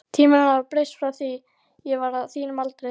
Tímarnir hafa breyst frá því ég var á þínum aldri.